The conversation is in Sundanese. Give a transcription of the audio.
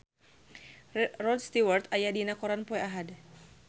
Rod Stewart aya dina koran poe Ahad